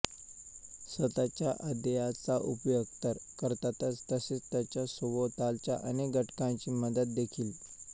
स्वतःच्या अध्यायाचा उपयोग तर करतातच तसेच त्याच्या सभोवतालच्या अनेक घटकांची मदत देखील